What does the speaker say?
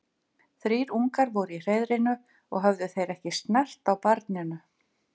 Þrír ungar voru í hreiðrinu og höfðu þeir ekki snert á barninu.